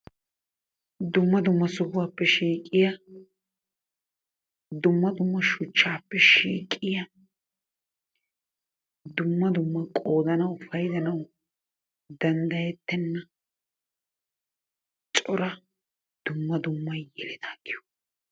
Dumma dumma sohuwappe shiqqiyaa, dumma dumma suchappe shiqiyaa dumma dumma qodanawu, paydanawu dandayettenna coraa dumma dumma yelettaa giyogaa.